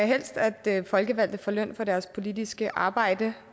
helst at folkevalgte får løn for deres politiske arbejde